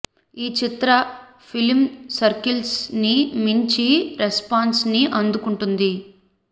ఈ చిత్ర film circles ని మంచి రెస్పాన్స్ ని అందుకుంటుంది